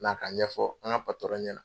Na a ka ɲɛfɔ an ka ɲɛna.